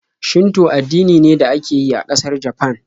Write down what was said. Shinto addini ne da ake yi a ƙasar Japan.